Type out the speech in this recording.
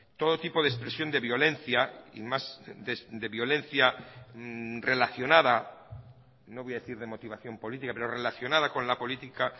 todo tipo de expresión de violencia y más de violencia relacionada no voy a decir de motivación política pero relacionada con la política